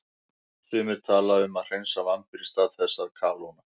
Sumir tala um að hreinsa vambir í stað þess að kalóna.